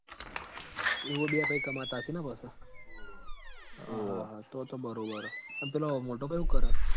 એવો બે ભઈ કમાતા હસી ન આવ તો તો તો બરોબર હ અન પેલો મોટો ભઈ હું કર હ